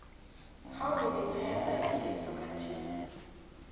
how many players are in a soccer team